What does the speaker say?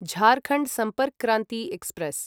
Jharkhand Sampark Kranti express